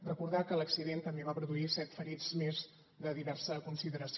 recordar que l’accident també va produir set ferits més de diversa consideració